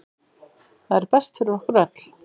Það er best fyrir okkur öll.